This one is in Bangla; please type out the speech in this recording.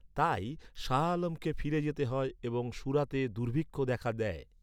তাই, শাহ আলমকে ফিরে যেতে হয় এবং সুরাতে দুর্ভিক্ষ দেখা দেয়।